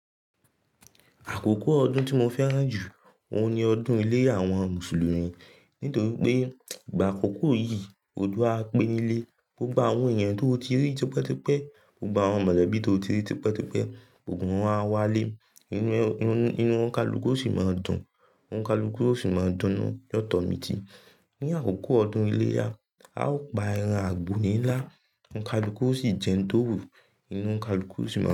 Àkókò ọdún tí mo fẹ́ràn jù ówu ní ọdún ilé àwọn Mùsùlùmí, nítorí pé ìgbà àkókò yìí, oju á pé nílé, gbogbo àwọn èèyàn tó o ti rí tipẹ́tipẹ́, gbogbo àwọn mọ̀lẹ́bí tó o ti rí tipẹ́tipẹ́, gbogbo wọn á wá lé, inu inú ọ̀kọ̀lùkọ́ ó sì máa dùn, ònkàlùkù ó sì máa dúnu. Yọ̀tọ̀ mi ti, ní àkókò ọdún iléyá, a ó pa ẹran àgbò nílá, ònkàlùkù ó sì jẹun tó wù, inú ònkàlùkù ó sì máa.